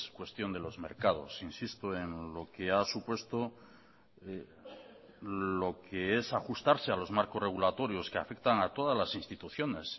cuestión de los mercados insisto en lo que ha supuesto lo que es ajustarse a los marcos regulatorios que afectan a todas las instituciones